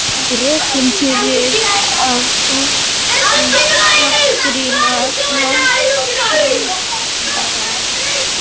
Rekinn fyrir að gagnrýna landsliðsþjálfara